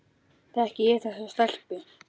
Þekki ég þessa stelpu?